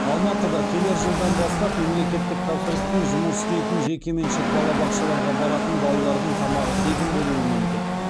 алматыда келер жылдан бастап мемлекеттік тапсырыспен жұмыс істейтін жекеменшік балабақшаларға баратын балалардың тамағы тегін болуы мүмкін